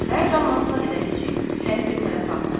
Hər damlasına qədər içib şüşəni bir tərəfə atar.